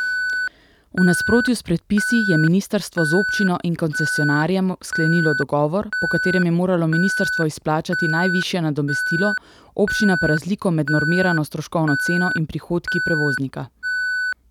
V nasprotju s predpisi je ministrstvo z občino in koncesionarjem sklenilo dogovor, po katerem je moralo ministrstvo izplačati najvišje nadomestilo, občina pa razliko med normirano stroškovno ceno in prihodki prevoznika.